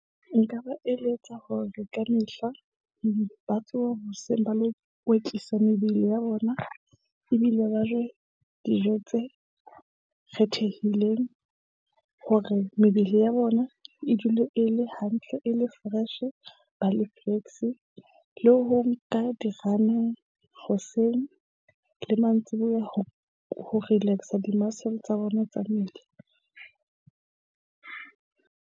Nka ba eletsa hore ka mehla ba tsoha hoseng ba lo kwetlisa mebele ya bona ebile ba je dijo tse re thehileng hore mebele ya bona e dule e le hantle e le fresh-e ba le flexi le ho nka di-run-e hoseng le mantsiboya ho ho relax-a di-muscle tsa bona tsa mmele .